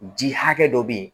Ji hakɛ dɔ be yen